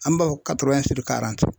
An b'a fɔ